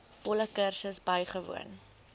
volle kursus bywoon